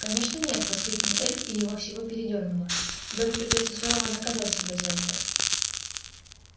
конечно нет воскликнул эльф и его всего передёрнуло добби придётся сурово наказать себя за это